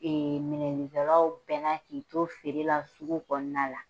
minɛninkɛlaw bɛna k'i to feere la, sugu kɔnɔna la.